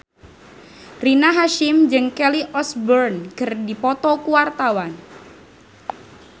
Rina Hasyim jeung Kelly Osbourne keur dipoto ku wartawan